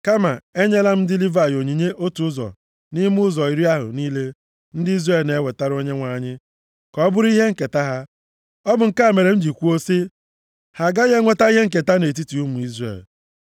Kama, enyela m ndị Livayị onyinye otu ụzọ nʼime ụzọ iri ahụ niile ndị Izrel na-ewetara Onyenwe anyị ka ọ bụrụ ihe nketa ha. Ọ bụ nke a mere m ji kwuo sị, ‘Ha agaghị enweta ihe nketa nʼetiti ụmụ Izrel.’ ”